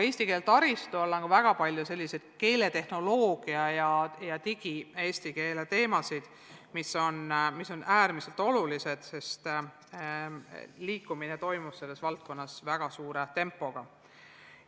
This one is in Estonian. Eesti keele taristu all on ka väga palju selliseid keeletehnoloogia ja eesti digikeele teemasid, mis on äärmiselt olulised, sest liikumine toimub selles valdkonnas väga tempokalt.